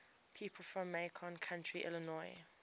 people from macon county illinois